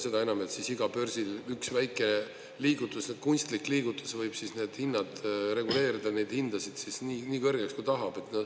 Seda enam, et iga börsil üks väike liigutus, kunstlik liigutus võib siis need hinnad reguleerida nii kõrgeks, kui tahab.